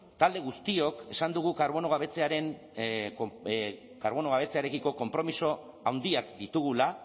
talde guztiok esan dugu karbono gabetzearekiko konpromiso handiak ditugula